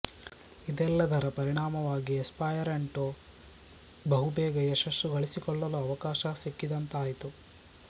ಇದೆಲ್ಲದರ ಪರಿಣಾಮವಾಗಿ ಎಸ್ಪರ್ಯಾಂಟೊ ಬಹುಬೇಗ ಯಶಸ್ಸು ಗಳಿಸಿಕೊಳ್ಳಲು ಅವಕಾಶ ಸಿಕ್ಕಿದಂತಾಯಿತು